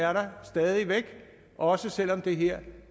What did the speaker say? er der stadig væk også selv om det her